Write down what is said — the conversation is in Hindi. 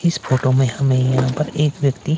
इस फोटो में हमें यहां पर एक व्यक्ति--